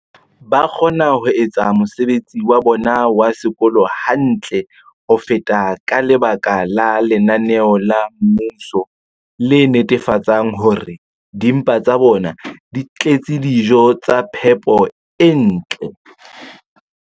ba kgona ho etsa mosebetsi wa bona wa sekolo hantle ho feta ka lebaka la lenaneo la mmuso le netefatsang hore dimpa tsa bona di tletse dijo tsa phepo e ntle.